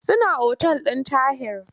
Suna otal ɗin Tahir.